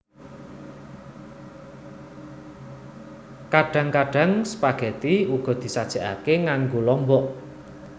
Kadhang kadhang spageti uga disajekake nganggo lombok